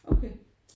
Okay